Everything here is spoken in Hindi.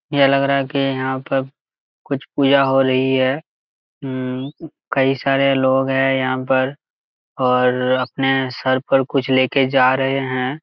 यह लग रहा की यहां पर कुछ पीड़ा हो रही है हम्म्म कई सारे लोग है यहां पर और अपने सर पर कुछ लेके जा रहे है।